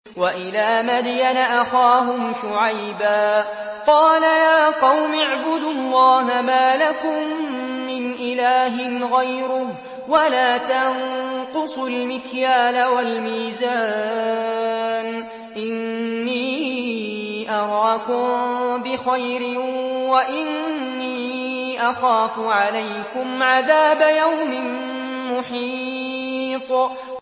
۞ وَإِلَىٰ مَدْيَنَ أَخَاهُمْ شُعَيْبًا ۚ قَالَ يَا قَوْمِ اعْبُدُوا اللَّهَ مَا لَكُم مِّنْ إِلَٰهٍ غَيْرُهُ ۖ وَلَا تَنقُصُوا الْمِكْيَالَ وَالْمِيزَانَ ۚ إِنِّي أَرَاكُم بِخَيْرٍ وَإِنِّي أَخَافُ عَلَيْكُمْ عَذَابَ يَوْمٍ مُّحِيطٍ